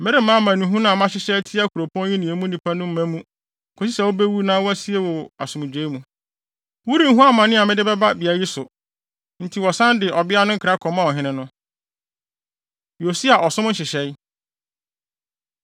Meremma amanehunu a mahyehyɛ atia kuropɔn yi ne emu nnipa no mma mu, kosi sɛ wubewu na wɔasie wo asomdwoe mu. Worenhu amane a mede bɛba beae yi so.’ ” Enti wɔsan de ɔbea no nkra kɔmaa ɔhene no. Yosia Ɔsom Nhyehyɛe